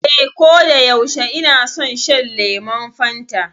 Ee, koda yaushe ina son shan lemon Fanta.